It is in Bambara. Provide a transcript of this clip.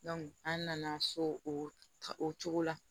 an nana so o cogo la